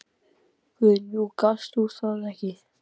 Guðný: Og gast þú það ekki?